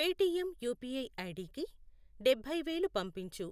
Paytm UPI ఐడికి డబ్బై వేలు పంపించు.